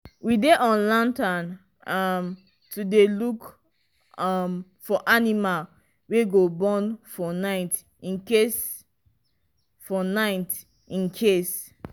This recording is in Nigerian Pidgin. we dey on lantern um to dey look um for animal wey go born for night incase for night incase